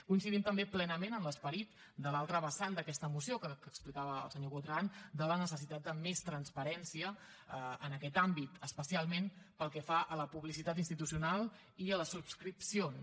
coincidim també plenament en l’esperit de l’altra vessant d’aquesta moció que explicava el senyor botran de la necessitat de més transparència en aquest àmbit especialment pel que fa a la publicitat institucional i a les subscripcions